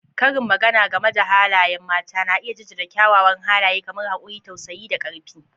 Karin magana game da halayen mata na iya jaddada kyawawan halaye kamar haƙuri, tausayi, da ƙarfi.